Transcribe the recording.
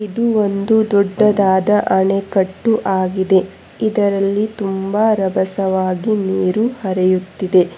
ಇದು ಒಂದು ದೊಡ್ಡಾದಾದ ಆಣೆಕಟ್ಟು ಆಗಿದೆ ಇದರಲ್ಲಿ ತುಂಬಾ ರಬಸವಾಗಿ ನೀರು ಹರಿಯುತ್ತದೆ.